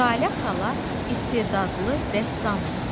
Jalə xala istedadlı rəssamdır.